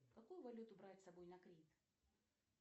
какую валюту брать с собой на крит